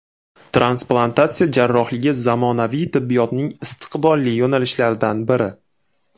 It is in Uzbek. Transplantatsiya jarrohligi zamonaviy tibbiyotning istiqbolli yo‘nalishlaridan biri.